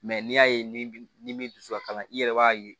Mɛ n'i y'a ye ni ni min dusu ka kalan i yɛrɛ b'a ye